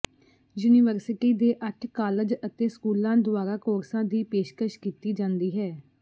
university ਦੇ ਅੱਠ college ਅਤੇ ਸਕੂਲਾਂ ਦੁਆਰਾ ਕੋਰਸਾਂ ਦੀ ਪੇਸ਼ਕਸ਼ ਕੀਤੀ ਜਾਂਦੀ ਹੈ